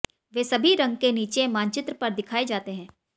वे सभी रंग के नीचे मानचित्र पर दिखाए जाते हैं